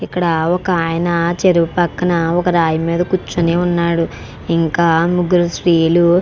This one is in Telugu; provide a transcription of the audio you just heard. ఇక్కడ ఒక ఆయన చెరువు పక్కన రాయు మీద కూర్చొని ఉన్నాడు ఇంకా ముగ్గురు స్త్రీలు --